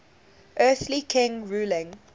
earthly king ruling